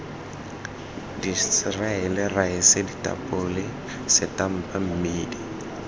diseriale raese ditapole setampa mmedi